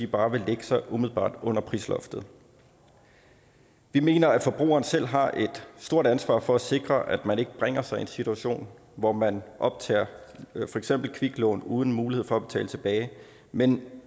bare vil lægge sig umiddelbart under prisloftet vi mener at forbrugeren selv har et stort ansvar for at sikre at man ikke bringer sig i en situation hvor man for optager kviklån uden mulighed for at betale tilbage men